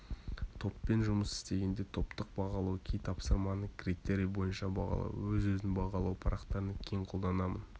топпен жұмыс істегенде топтық бағалау кей тапсырманы критерий бойынша бағалау өз-өзін бағалау парақтарын кең қолданамын